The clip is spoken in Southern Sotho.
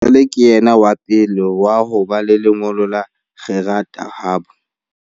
Jwale ke yena wa pele wa ho ba le lengolo la kgerata habo.